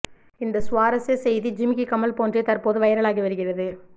இந்த சுவாரஸ்ய செய்தி ஜிமிக்கி கம்மல் போன்றே தற்போது வைரலாகி வருகிறது